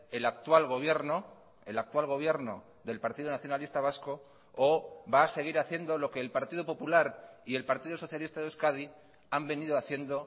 el actual gobierno el actual gobierno del partido nacionalista vasco o va a seguir haciendo lo que el partido popular y el partido socialista de euskadi han venido haciendo